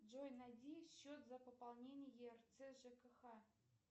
джой найди счет за пополнение ерц жкх